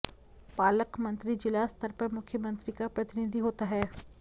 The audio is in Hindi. पालकमंत्री जिला स्तर पर मुख्यमंत्री का प्रतिनिधि होता है